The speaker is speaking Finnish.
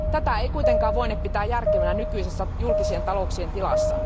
Tätä ei kuitenkaan voine pitää järkevänä nykyisessä julkisten talouksien tilassa.